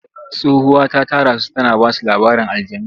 Tsohuwa ta tara su tana ba su labarin aljannu.